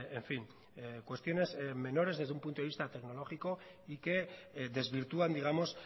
en fin cuestiones menores desde un punto de vista tecnológico y que desvirtúan digamos